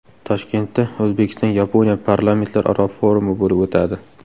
Toshkentda O‘zbekiston-Yaponiya parlamentlararo forumi bo‘lib o‘tadi.